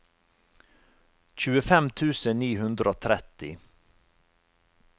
tjuefem tusen ni hundre og tretti